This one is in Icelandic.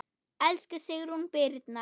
Elsku Sigrún Birna.